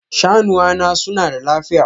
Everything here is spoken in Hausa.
Shanuwa na suna da lafiya?